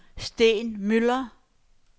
Steen Müller